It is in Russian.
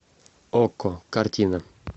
окко картина